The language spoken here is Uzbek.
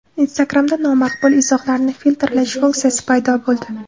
Instagram’da nomaqbul izohlarni filtrlash funksiyasi paydo bo‘ldi.